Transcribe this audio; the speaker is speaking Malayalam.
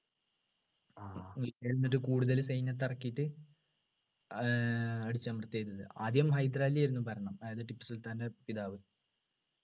എന്നിട്ട് കൂടുതൽ സൈന്യത്തെ ഇറക്കിയിട്ട് ഏർ അടിച്ചമർത്തുകയാ ചെയ്തത് ആദ്യം ഹൈദരാലിയായിരുന്നു ഭരണം അതായത് ടിപ്പുസുൽത്താൻ്റെ പിതാവ്